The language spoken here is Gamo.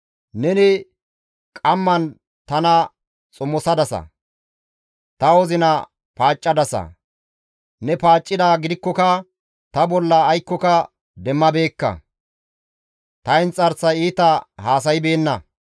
Neni qamman tana xomosadasa; ta wozina paaccadasa; ne paaccidaa gidikkoka ta bolla aykkoka demmabeekka. Ta inxarsay iita haasaybeenna.